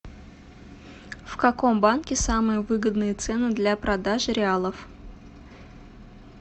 в каком банке самые выгодные цены для продажи реалов